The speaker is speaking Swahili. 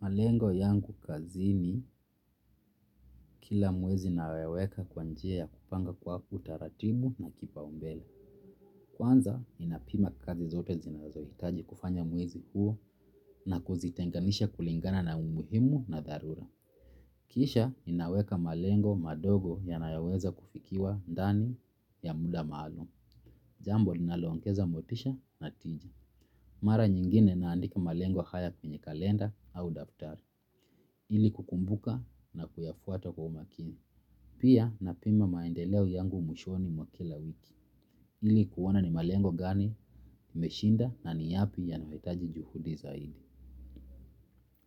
Malengo yangu kazini kila mwezi naweka kwa njia ya kupanga kwa utaratibu na kipaumbele. Kwanza, ninapima kazi zote zinazohitaji kufanya mwezi huu na kuzitenganisha kulingana na umuhimu na dharura. Kisha, ninaweka malengo madogo yanayoweza kufikiwa ndani ya muda maalum. Jambo, linaloongeza motisha na tiji. Mara nyingine naandika malengo haya kwenye kalenda au daftari. Ili kukumbuka na kuyafuata kwa umakini. Pia na pima maendeleo yangu mwishoni mwa kila wiki. Ili kuona ni malengo gani, nimeshinda na ni yapi yanayohitaji juhudi zaidi.